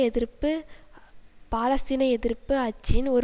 எதிர்ப்பு பாலஸ்தீனிய எதிர்ப்பு அச்சின் ஒரு